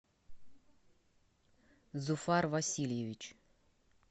зуфар васильевич